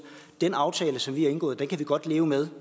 den aftale som vi har indgået kan vi godt leve med